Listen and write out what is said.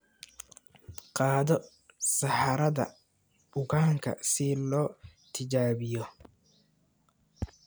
Qaado saxarada bukaanka si loo tijaabiyo.